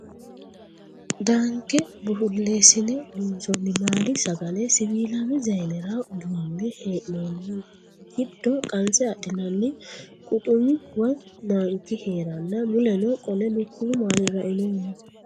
Danke bulesine loonsonni maali sagale siwiilame zayinera duune hee'nonni giddo qanse adhinani quxumi woyi manki heeranna muleno qole lukkuwu maali rainohu no